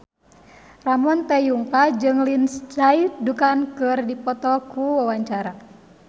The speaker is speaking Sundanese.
Ramon T. Yungka jeung Lindsay Ducan keur dipoto ku wartawan